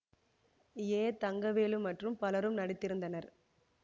ஏ தங்கவேலு மற்றும் பலரும் நடித்திருந்தனர்